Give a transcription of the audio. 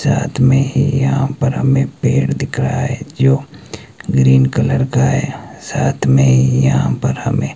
साथ में ही यहां पर हमें पेड़ दिख रहा है जो ग्रीन कलर का है साथ में यहां पर हमें--